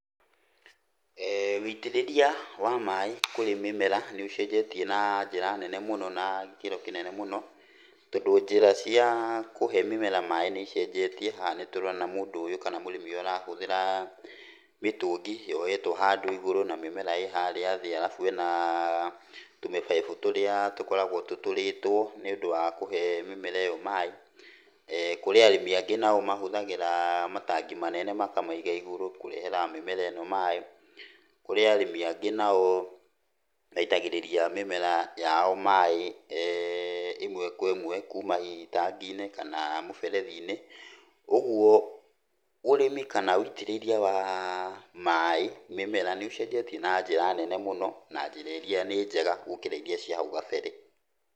Wĩitĩrĩria wa maaĩ kũrĩ mĩmera nĩ ũcenjetie na njĩra nene mũno na gĩkĩro kĩnene mũno, tondũ njĩra cia kũhe mĩmera maaĩ nĩ icenjetie. Haha nĩtũrona mũndũ ũyũ kana mũrĩmi ũyũ arahũthĩra mĩtũngi yohetwo handũ igũrũ na mĩmera ĩ harĩa thĩ alafu hena tũmĩbaibũ tũrĩa tũkoragwo tũtũrĩtwo nĩũndũ wa kũhe mĩmera ĩyo maaĩ. Kũrĩ arĩmi angĩ nao mahũthagĩra matangi manene makamaiga igũrũ kũrehera mĩmera ĩno maaĩ. Kũrĩ arĩmi angĩ nao maitagĩrĩria mĩmera yao maaĩ ĩmwe kwa ĩmwe kuuma hihi itangi-inĩ kana mũberethi-inĩ. Ũguo ũrĩmi kana wĩitĩrĩria wa maaĩ mĩmera nĩ ũcenjetie na njĩra nene mũno, na njĩra iria nĩ njega gũkĩra iria cia hau kabere.